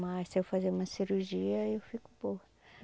Mas se eu fazer uma cirurgia, eu fico boa.